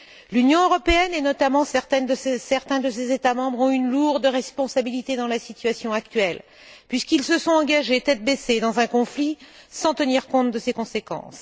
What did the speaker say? L'Union européenne, et notamment certains de ses États membres, ont une lourde responsabilité dans la situation actuelle, puisqu'ils se sont engagés tête baissée dans un conflit, sans tenir compte de ses conséquences.